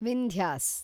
Vindhyas